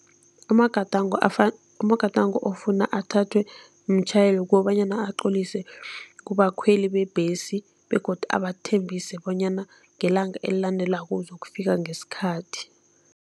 Amagadango amagadango Ofuna athathwe mtjhayeli kukobanyana aqolise kubakhweli bebhesi begodu abathembise bonyana ngelanga elilandelako uzokufika ngesikhathi.